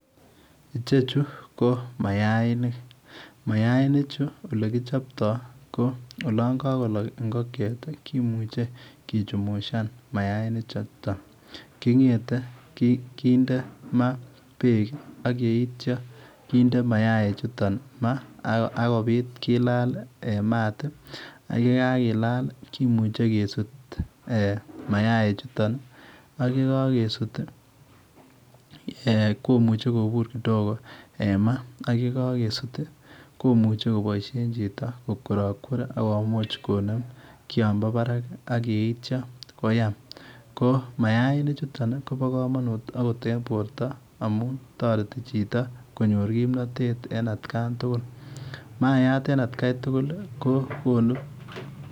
Ichechu ko mayainik, mayainik chu ole kichaptoi ko olaan kakolaak ingogiet komuchei kichumusaan mayainik chutoon, kings the kindee maa beek ak yeitya konde mayaik chutoon akobiit kilal en maat ii ak ye kakolaak kimuchei kesuut ak ye kagesuut mayaik chutoon ii komuchei kobuur kidogo en maa ak ye kagesuut komuchei kobois en chito kokwerarakwer akomuuch kinem Kian bo Barak ak yeitya koyam , mayainik chutoon Kobo kamanut akoot en borto amuun taretii chitoo konyoor kimnatet en at kaan tugul. mayaat en at kaan tugul konuu .